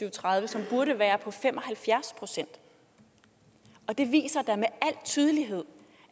og tredive som burde være på fem og halvfjerds procent det viser da med al tydelighed